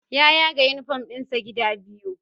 Ya yaga uniform ɗinsa gida biyu